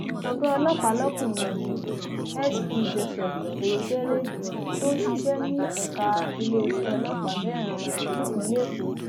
ọgá ọlọpàá lọkùnrin yìíinsp joseph eyitere tó ń ṣiṣẹ ní ẹka iléeṣẹ ọlọpàá meiran nípínlẹ èkó